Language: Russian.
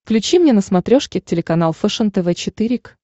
включи мне на смотрешке телеканал фэшен тв четыре к